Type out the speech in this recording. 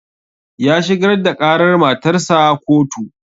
Ya shigar da ƙarar matarsa ƙotu